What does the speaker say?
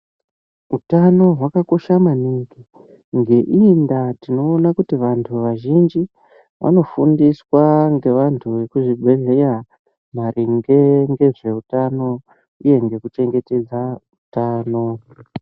Hutano hwakakosha maningi ngeiyi nda tinoona kuti vantu vazhinji vanofundiswa nevantu vemuzvibhedhlera maringe nezvehutano uye nekuchengetedza hutano.